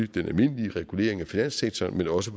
den almindelige regulering af finanssektoren men også